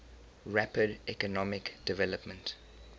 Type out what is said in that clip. rapid economic development